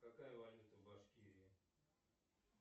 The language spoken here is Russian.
какая валюта в башкирии